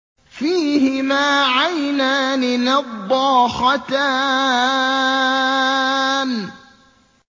فِيهِمَا عَيْنَانِ نَضَّاخَتَانِ